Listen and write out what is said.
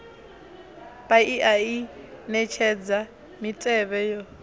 paia i netshedza mitevhe yo